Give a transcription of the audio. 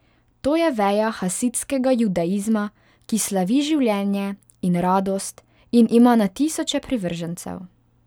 To je veja hasidskega judaizma, ki slavi življenje in radost in ima na tisoče privržencev.